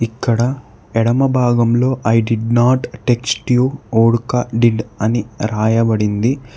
ఇక్కడ ఎడమ భాగంలో I did not text you vodka did అని రాయబడింది.